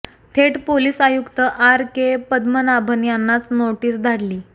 थेट पोलीस आयुक्त R K Padmanabhan यांनाच नोटीस धाडली